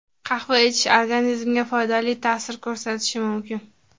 Qahva ichish organizmga foydali ta’sir ko‘rsatishi mumkin.